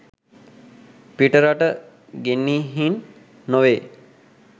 පිටරට ගෙනිහින් නොවෙයි.